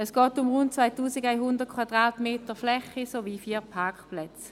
Es geht um eine Fläche von rund 2100 m sowie um vier Parkplätze.